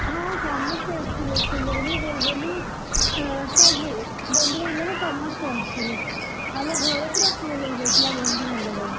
ହଁ ସମସ୍ତେ ଆସିଥିଲେ ଚୁଲୁବୁଲି, ବୁଲୁବୁଲି, ଏଁ ସବୁ ବନ୍ଧୁବାନ୍ଧବ ସମସ୍ତେ ଆସିଥିଲେ, ଆମ ଘର ପୂରା full ହେଇଯାଇଥିଲା ବନ୍ଧୁ ବାନ୍ଧବରେ,